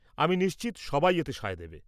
আমি নিশ্চিত, সবাই এতে সায় দেবে।